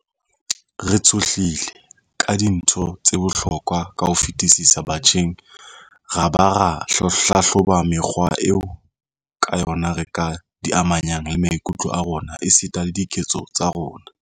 Re tshohlile ka dintho tse bohlokwa ka ho fetisisa batjheng ra ba ra hlahloba mekgwa eo ka yona re ka di amanyang le maikutlo a rona esita le diketso tsa rona.